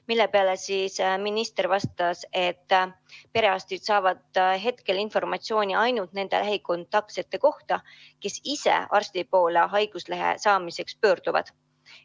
Selle peale minister vastas, et perearstid saavad hetkel informatsiooni ainult nende lähikontaktsete kohta, kes ise arsti poole haiguslehe saamiseks pöörduvad.